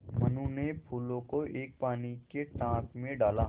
मनु ने फूलों को एक पानी के टांक मे डाला